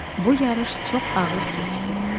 Bu yarış çox ağır keçdi.